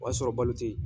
O y'a sɔrɔ balo tɛ yen